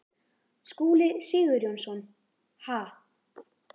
Skúli Sigurjónsson: Ha?